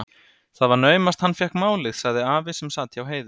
Það var naumast hann fékk málið, sagði afi sem sat hjá Heiðu.